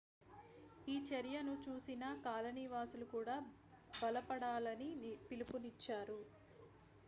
ఈ చర్యను చూసిన కాలనీవాసులు కూడా బలపడాలని పిలుపునిచ్చారు